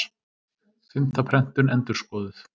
Fimmta prentun endurskoðuð.